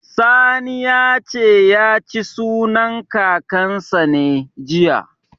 Sani ya ce, ya ci sunan Kakansa ne, jiya.